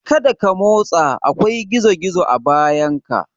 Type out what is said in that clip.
Kada ka motsa! akwai gizo-gizo a bayanka.